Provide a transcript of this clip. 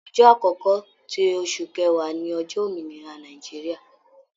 Ọjọ́ akọkọ ti oṣù kẹwa ni ọjọ Òmìnira Nàìjíríà.